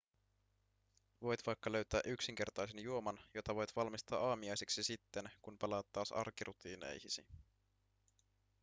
voit vaikka löytää yksinkertaisen juoman jota voit valmistaa aamiaiseksi sitten kun palaat taas arkirutiineihisi